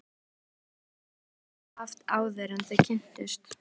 Hvaða tilgang hafði lífið haft áður en þau kynntust?